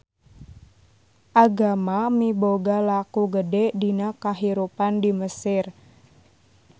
Agama miboga laku gede dina kahirupan di Mesir.